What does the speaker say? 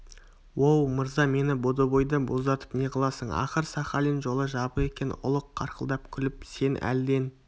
оу мырза мені бодойбода боздатып неғыласың ақыр сахалин жолы жабық екен ұлық қарқылдап күліп сен әлден